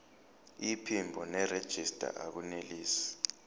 iphimbo nerejista akunelisi